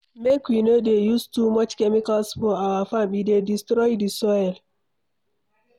Make we no dey use too much chemicals for our farm, e dey destroy the soil